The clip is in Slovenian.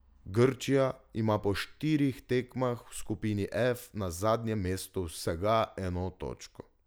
Grčija ima po štirih tekmah v skupini F na zadnjem mestu vsega eno točko.